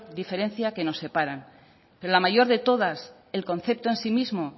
diferencia que nos separa pero la mayor de todas el concepto en sí mismo